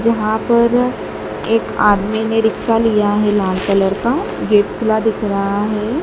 वहां पर एक आदमी ने रिक्शा लिया है लाल कलर का गेट खुला दिख रहा है।